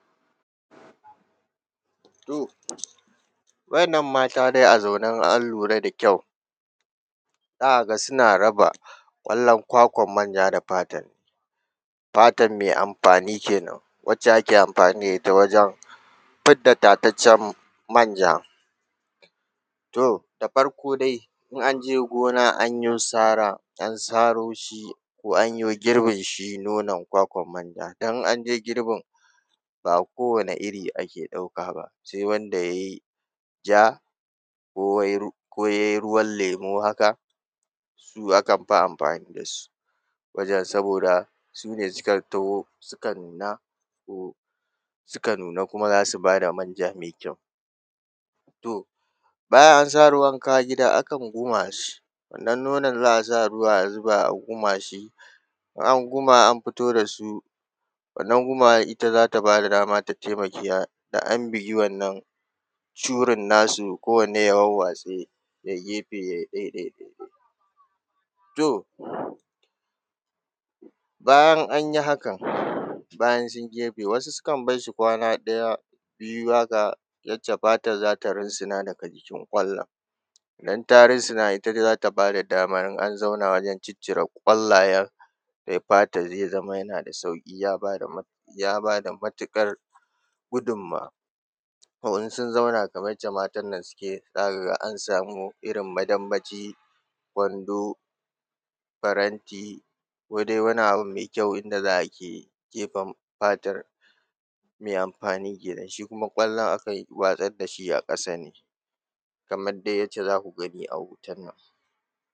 To, waɗannan mata dai a zaune in an lura da kyau, za a ga suna raba ƙwallon kwakwar manja da fatar, fatar mai amfani kenan, wacce ake amfani da ita wajen fidda tataccen manja. To da farko dai, in an je gona an yo sara, an saro shi ko an yo girbin shi nonon kwakwar manja, in an je girbin, ba kowane iri ake ɗauka ba, sai wanda ya yi ja, ko ya yi ruwan lemu haka, su akan fi amfani da su wajen saboda su ne suka toho suka nuna to suka nuna kuma za su ba da manja mai kyau. To bayan an saro an kawo gida, akan guma shi. Ɗan nonon za a sa ruwa, a guma shi, in an guma an fito da su, wannan gumawar ita za ta ba da dama, ta taimaka, da an bugi wannan curin nasu, kowanne ya warwatse, ya yi gefe, ya yi ɗai ɗai. To, bayan an yi haka, bayan sun yi gefe, wasu sukan bar shi kwana ɗaya biyu haka, yadda fatar za ta runsuna daga jikin ƙwallon. Idan ta runsuna ita za ta ba da dama in an zauna wajen ciccire ƙwallayen, sai fatar ya zama yana da sauƙi, ya ba da matuƙar gudunmuwa. Ko in sun zauna kamar yadda matan nan suke, za ka ga an samu irin madambaci, kwando, faranti ko dai wani abin mai kyau inda za a ke kife fatar mai amfani kenan, shi kuma ƙwallon akan watsar da shi a ƙasa ne, kamar dai yadda za ku gani a hoton nan.